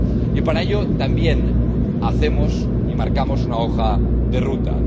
Y para ello también hacemos y marcamos una hoja de ruta.